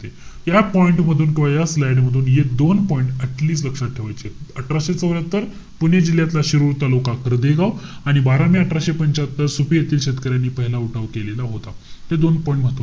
या point मधून किंवा या slide मधून हे दोन point atleast लक्षात ठेवायचेत. अठराशे चौर्यात्तर, पुणे जिल्ह्यातला शिरुड तालुका, कर्व्हे गाव. आणि बारा मे अठराशे पंच्यात्तर सुपे येथील शेतकऱ्यांनी पहिला उठाव केलेला होता. हे दोन point,